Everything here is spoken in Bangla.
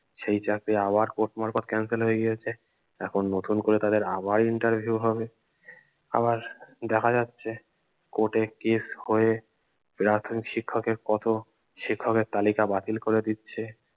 সেই চাকরি আবার কোর্ট মারফত cancel হয়ে গিয়েছে এখন নতুন করে তাদের আবার interview হবে আবার দেখা যাচ্ছে কোর্টে case হয়ে প্রাথমিক শিক্ষকের কত শিক্ষকের তালিকা বাতিল করে দিচ্ছে